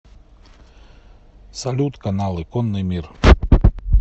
салют каналы конный мир